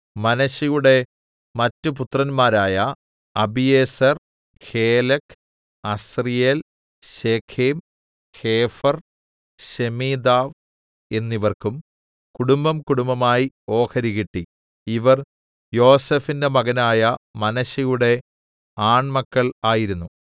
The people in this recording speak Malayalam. മനശ്ശെയുടെ മറ്റ് പുത്രന്മാരായ Abiezer Helek Asriel Shechem Hepher Shemida എന്നിവർക്കും കുടുംബംകുടുംബമായി ഓഹരി കിട്ടി ഇവർ യോസേഫിന്റെ മകനായ മനശ്ശെയുടെ ആൺ മക്കൾ ആയിരുന്നു